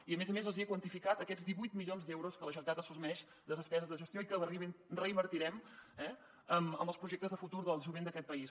i a més a més els hi he quantificat aquests divuit mi·lions d’euros que la generalitat assumeix de despeses de gestió i que reinvertirem eh en els projectes de futur del jovent d’aquest país